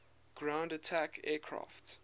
ground attack aircraft